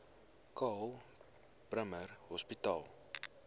karl bremer hospitaal